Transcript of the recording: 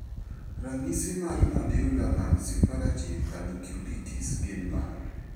Ranyisi mag Nodular nonsuppurative panniculitis gin mage?